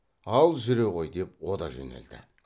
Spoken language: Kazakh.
ал жүре ғой деп о да жөнелді